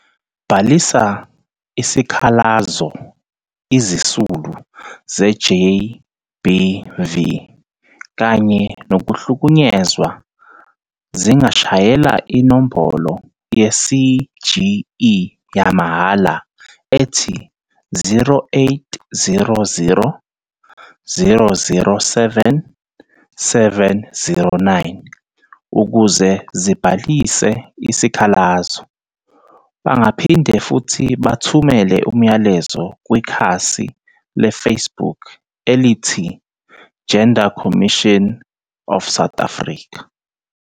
Bhalisa isikhalazoIzisulu ze-GBV kanye nokuhlukunyezwa zingashayela inombolo ye-CGE yamahhala ethi- 0800 007 709 ukuze zibhalise isikhalazo. Bangaphinde futhi bathumele umlayezo kwikhasi leFacebook elithi- Gender Commission of South Africa.